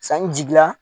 Sanni jigila